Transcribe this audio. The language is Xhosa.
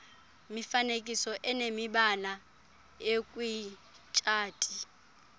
mifanekiso inemibala ekwitshati